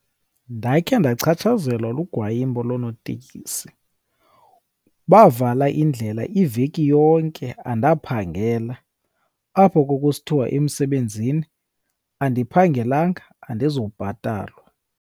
Ndakhe ndachatshazelwa lugwayihambo loonotekisi, bavala indlela iveki yonke andaphangela. Apho kwakusithiwa emsebenzini andiphangelanga, andizubhatalwa.